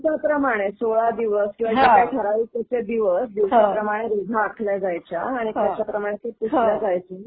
दिवसा प्रमाणेच, 16 दिवस किंवा जे काही ठराविक तुमचे दिवस, दिवसाप्रमाणे रेघा आखल्या जायच्या आणि त्याच्याप्रमाणे ते पुसलं जायचं.